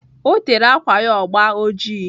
Ọ tere ákwà ya agba ọjị.